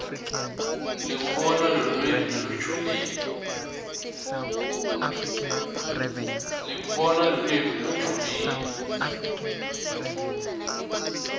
lekubona lulwimi lolujulile